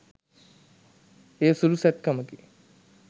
එය සුළු සැත්කමකි